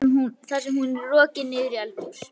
Þar með er hún rokin niður í eldhús.